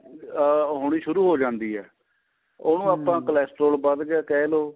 ਅਹ ਹੋਣੀ ਸ਼ੁਰੂ ਹੋ ਜਾਂਦੀ ਏ ਉਹਨੂੰ ਆਪਾਂ Cal stroll ਵੱਧ ਗਿਆ ਕਿਹ ਲਓ